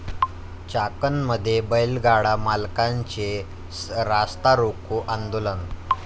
चाकणमध्ये बैलगाडा मालकांचे रास्तारोको आंदोलन